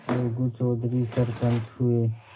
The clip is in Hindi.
अलगू चौधरी सरपंच हुए